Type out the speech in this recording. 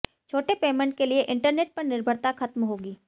छोटे पेमेंट के लिए इंटरनेट पर निर्भरता खत्म होगी